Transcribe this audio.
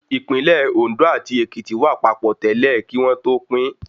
Ìpínlẹ̀ Òndó àti Èkìtì wà papọ̀ tẹ́lẹ̀ ni kí wọ́n tó pín